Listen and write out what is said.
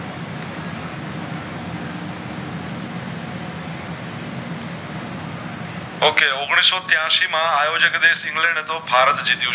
ok ઔગણીશ ત્યાંશી માં આયોજન દેશ ઇંગ્લેન્ડ હતો ભારત જીત્યો